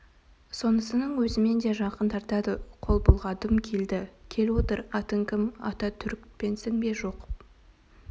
сонысының өзімен де жақын тартады қол бұлғадым келді кел отыр атың кім ата түрікпенсің бе жоқ